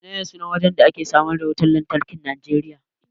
Menene sunan wajen da ake samar da wutan lantarkin Nijeriya?